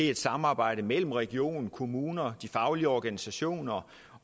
et samarbejde mellem regionen kommunerne de faglige organisationer